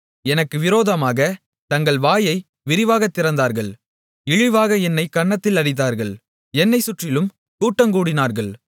எனக்கு விரோதமாகத் தங்கள் வாயை விரிவாகத் திறந்தார்கள் இழிவாக என்னைக் கன்னத்தில் அடித்தார்கள் என்னைச் சுற்றிலும் கூட்டங்கூடினார்கள்